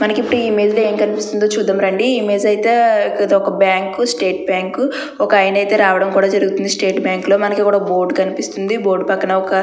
మనకి ఇప్పుడు ఇమేజ్ లో ఏం కనిపిస్తుందో చూద్దాం రండి. ఈ ఇమేజ్ అయితే ఇది ఒక బ్యాంకు స్టేట్ బ్యాంకు ఒక ఆయన అయితే రావడం కూడా జరుగుతుంది స్టేట్ బ్యాంకు లో మనకు ఇక్కడ బోర్డు కనిపిస్తుంది. బోర్డు పక్కన ఒక --